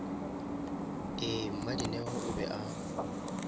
ee mmadineo o be a